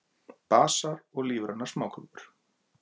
Basar og lífrænar smákökur